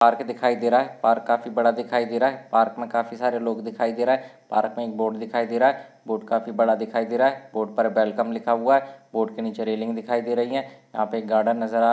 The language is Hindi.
पार्क काफी बड़ा दिखाई दे रहा है पार्क मे काफी सारे लोग दिखाई दे रहा है पार्क मे एक बोर्ड दिखाई दे रहा है बोर्ड काफी बड़ा दिखाई दे रहा है बोर्ड पर वेलकम लिखा हुआ है। बोर्ड के नीचे रेलिंग दिखाई दे रही है। यहाँ पे एक गार्डन नज़र आ--